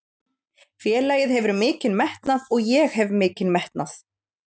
Félagið hefur mikinn metnað og ég hef mikinn metnað.